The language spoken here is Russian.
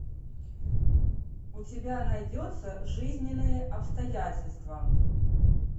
у тебя найдется жизненные обстоятельства